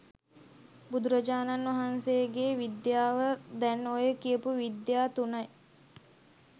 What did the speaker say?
බුදුරජාණන් වහන්සේගේ විද්‍යාව දැන් ඔය කියපු විද්‍යා තුනයි.